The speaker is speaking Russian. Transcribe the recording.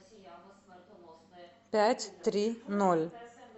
пять три ноль